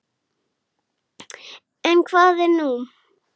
En hvað er nú?